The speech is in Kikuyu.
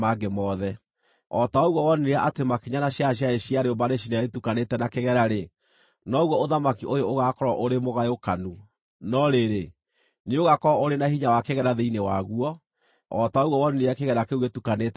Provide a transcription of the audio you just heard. O ta ũguo wonire atĩ makinya na ciara ciarĩ cia rĩũmba rĩcine rĩtukanĩte na kĩgera-rĩ, noguo ũthamaki ũyũ ũgaakorwo ũrĩ mũgayũkanu; no rĩrĩ, nĩũgakorwo ũrĩ na hinya wa kĩgera thĩinĩ waguo, o ta ũguo wonire kĩgera kĩu gĩtukanĩte na rĩũmba.